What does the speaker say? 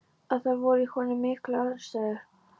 Að það voru í honum miklar andstæður.